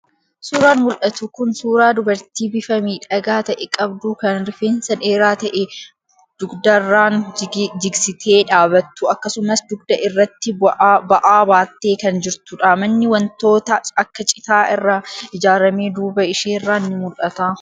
Suuraan mul'atu kun suuraa dubartii bifa miidhagaa ta'e qabduu kan rifeensa dheeraa ta'e dugdarraan jigsitee dhaabattu akkasumas dugda irratti ba'aa baattee kan jirtudha. Manni wantoota akka citaa irraa ijaarame duuba isheerraan ni mul'ata.